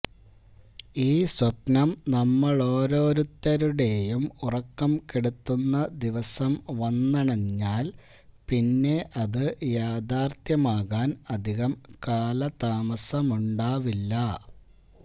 ഈ സ്വപ്നം നമ്മളോരോരുത്തരുടെയും ഉറക്കം കെടുത്തുന്ന ദിവസം വന്നണഞ്ഞാൽ പിന്നെ അത് യാഥാർഥ്യമാകാൻ അധികം കാലതാമസമുണ്ടാവില്ല